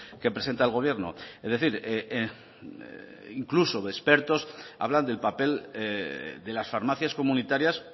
que presenta el gobierno es decir incluso expertos hablan del papel de las farmacias comunitarias